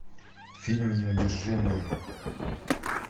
фильм неудержимые